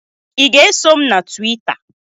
I ga-eso m na Tuwita?